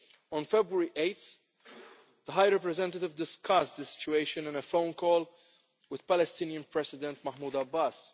On 8 February the High Representative discussed the situation in a phone call with Palestinian President Mahmoud Abbas.